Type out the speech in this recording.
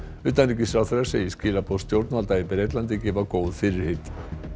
utanríkisráðherra segir skilaboð stjórnvalda í Bretlandi gefa góð fyrirheit